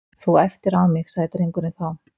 Þú æptir á mig- sagði drengurinn þá.